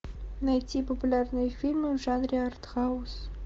найти популярные фильмы в жанре артхаус